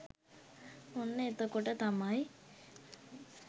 ඔන්න එතකොට තමයි